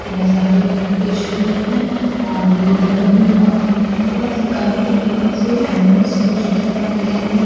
नजारे पेश किए हैं और ये पेपर में बहुत खूबसूरत से कलरफुल पेपर्स से एनिमल्स के चित्र बनाए गए हैं --